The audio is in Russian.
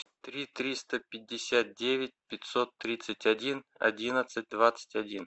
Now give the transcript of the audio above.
три триста пятьдесят девять пятьсот тридцать один одиннадцать двадцать один